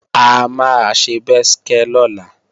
A máa ṣe bẹ́skẹ́ lọ́la